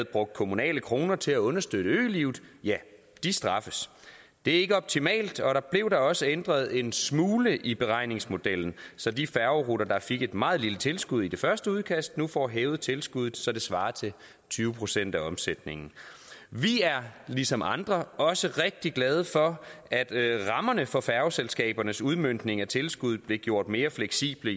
brugt kommunale kroner til at understøtte ølivet straffes det er ikke optimalt og der blev da også ændret en smule i beregningsmodellen så de færgeruter der fik et meget lille tilskud i det første udkast nu får hævet tilskuddet så det svarer til tyve procent af omsætningen vi er ligesom andre også rigtig glade for at rammerne for færgeselskabernes udmøntning af tilskuddet blev gjort mere fleksible